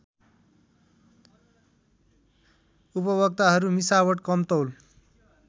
उपभोक्ताहरू मिसावट कमतौल